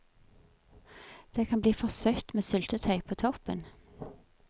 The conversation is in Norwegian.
Det kan bli for søtt med syltetøy på toppen.